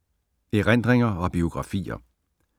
Erindringer og biografier